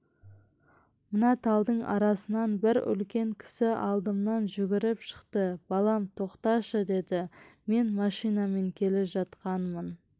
мына талдың арасынан бір үлкен кісі алдымнан жүгіріп шықты балам тоқташы деді мен машинамен келе жатқанмын